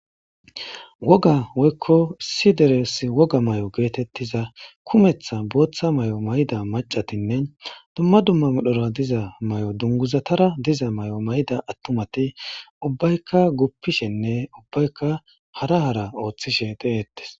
Woga woykko si deres woga may'o geetettiza kumeththa booththa may'o mayida macatinne dumma dumma midhora diza may'o dunguzatara diza may'o may'ida attumati ubbaykka guppishenne ubbayka hara hara ooththishe de'eettes.